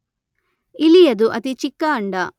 ಇಲಿಯದು ಅತಿ ಚಿಕ್ಕ ಅಂಡ.